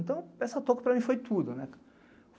Então, essa toco, para mim, foi tudo.